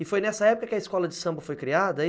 E foi nessa época que a escola de samba foi criada?